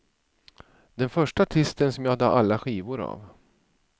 Den första artisten som jag hade alla skivor av.